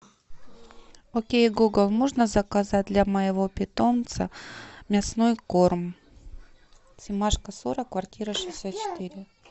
окей гугл можно заказать для моего питомца мясной корм семашко сорок квартира шестьдесят четыре